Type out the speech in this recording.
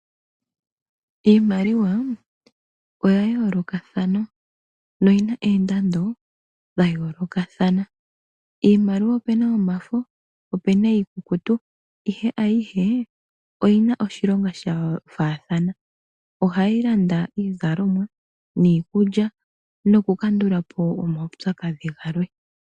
Iimaliwa oya yolokathana, noyina oondando dhayolokathana , iimaliwa ope na yomafo, opu na iikukutu ihe ayihe oyi na oshilonga shafathana ohayi landa iizalomwa, nikulya nokukandulapo omawupyakadhi ngamwe.